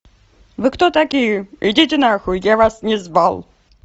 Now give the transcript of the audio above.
вы кто такие идите на хуй я вас не звал